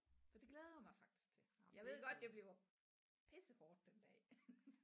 Så det glæder jeg mig faktisk til jeg ved godt det bliver pissehårdt den dag